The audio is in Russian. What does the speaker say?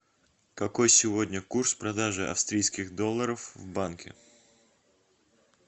какой сегодня курс продажи австрийских долларов в банке